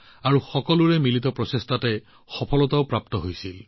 যেতিয়া সকলোৰে প্ৰচেষ্টা হাতত লোৱা হল তেতিয়া সফলতাও লাভ কৰা হল